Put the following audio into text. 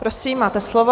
Prosím, máte slovo.